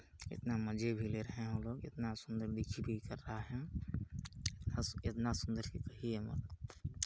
इतना मज़े भी ले रहे है वो लोग इतना सुन्दर दिख ही रहा है इतना सुन्दर के कहिये मत--